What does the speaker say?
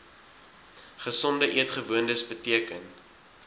gesonde eetgewoontes beteken